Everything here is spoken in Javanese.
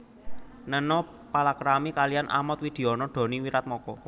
Neno palakrami kaliyan Ahmad Widiono Doni Wiratmoko